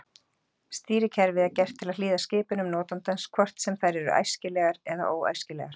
Stýrikerfið er gert til að hlýða skipunum notandans hvort sem þær eru æskilegar eða óæskilegar.